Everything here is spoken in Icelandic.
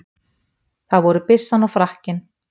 Það voru byssan og frakkinn.